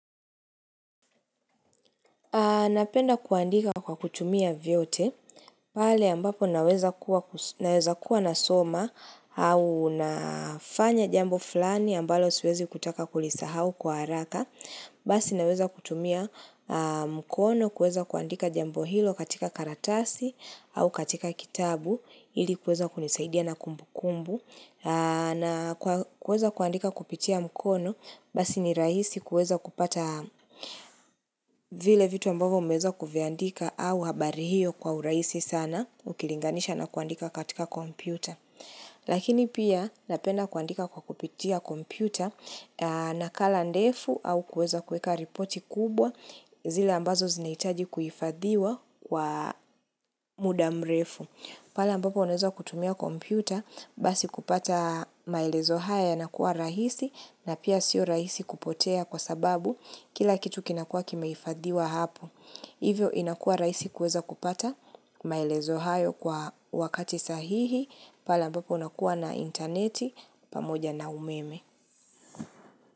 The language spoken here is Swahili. Napenda kuandika kwa kutumia vyote, pale ambapo naweza kuwa nasoma au nafanya jambo fulani ambalo siwezi kutaka kulisahau kwa haraka. Basi naweza kutumia mkono kuweza kuandika jambo hilo katika karatasi au katika kitabu ili kuweza kunisaidia na kumbu kumbu. Na kuweza kuandika kupitia mkono basi ni rahisi kuweza kupata vile vitu ambavyo umeweza kuviandika au habari hiyo kwa urahisi sana ukilinganisha na kuandika katika kompyuta. Lakini pia napenda kuandika kwa kupitia kompyuta nakala ndefu au kuweza kuweka ripoti kubwa zile ambazo zinahitaji kuhifadhiwa kwa muda mrefu. Pale ambapo wanaweza kutumia kompyuta basi kupata maelezo haya yanakuwa rahisi na pia sio rahisi kupotea kwa sababu kila kitu kinakuwa kimehifadhiwa hapo. Hivyo inakuwa rahisi kuweza kupata maelezo hayo kwa wakati sahihi pale ambapo unakuwa na intaneti pamoja na umeme.